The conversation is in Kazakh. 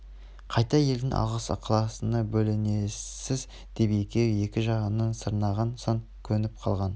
қайта елдің алғыс-ықыласына бөленесіз деп екеуі екі жағынан сарнаған соң көніп қалған